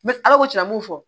N bɛ ala ko cɛn na a m'o fɔ